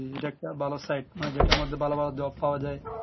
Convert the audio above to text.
উম যে একটা ভালো side মধ্যে ভালো ভালো job পাওয়া যাই